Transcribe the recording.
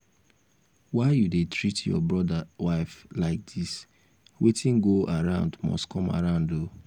why you dey treat your brother wife like dis? wetin go around must come around oo